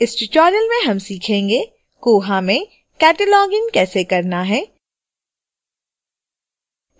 इस tutorial में हम सीखेंगे